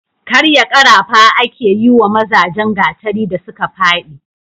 karya karafa ake yi wa mazajen gatari da suka fadi